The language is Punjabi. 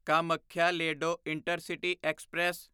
Kamakhya Ledo intercity express